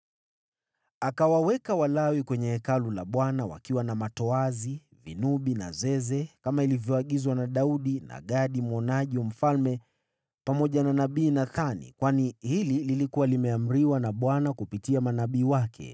Akawaweka Walawi kwenye Hekalu la Bwana wakiwa na matoazi, vinubi na zeze kama ilivyoagizwa na Daudi na Gadi mwonaji wa mfalme pamoja na nabii Nathani kwani hili lilikuwa limeamriwa na Bwana kupitia manabii wake.